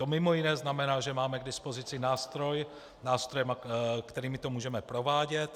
To mimo jiné znamená, že máme k dispozici nástroje, kterými to můžeme provádět.